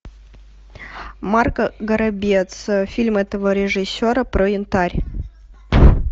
марк горобец фильм этого режиссера про янтарь